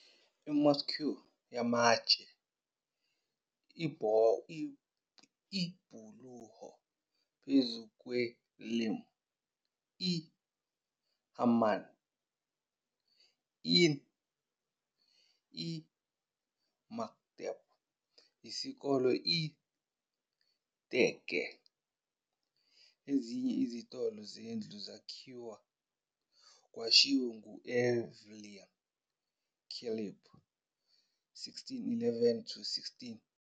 I-mosque yamatshe, ibhuloho phezu kwe-Lim, i- hamam, inn, i- mekteb, isikole, i- tekke, ezinye izitolo nezindlu zakhiw. Kwashiwo ngu- Evliya Çelebi, 1611-1682.